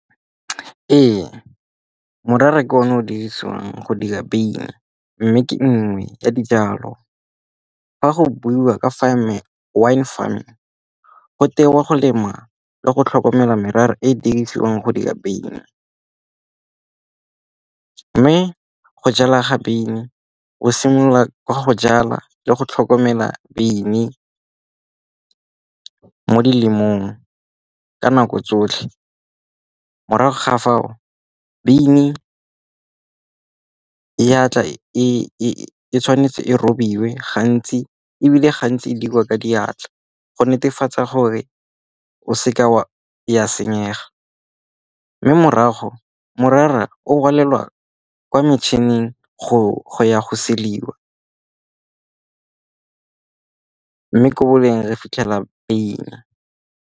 Ee, morara ke o ne o dirisiwang go dira beine, mme ke nngwe ya dijalo. Ga go buiwa ka wine farming go tewa go lema le go tlhokomela merara e e dirisiwang go dira wyn. Mme go jala ga beine o simolola ka go jala le go tlhokomela beine mo dilemong, ka nako tsotlhe. Morago ga fao, beige eya tla e tshwanetse e robiwe gantsi, ebile gantsi dirwa ka diatla go netefatsa gore o seka ya senyega. Mme morago morara o kwa metšhineng go ya go sediba, mme ko re fitlhela beine.